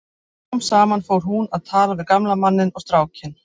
Smám saman fór hún að tala við gamla manninn og strákinn.